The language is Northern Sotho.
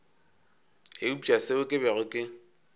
eupša seo ke bego ke